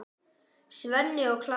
Svenni og Klara!